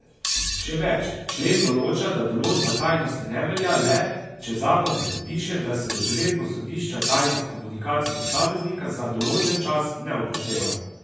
Še več, člen določa, da določba tajnosti ne velja le, če zakon predpiše, da se z odredbo sodišča tajnost komunikacij posameznika za določen čas ne upošteva.